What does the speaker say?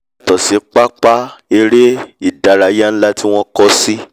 yàtọ̀ sí pápá eré ìdárayá nlá tí wọ́n kọ́ sí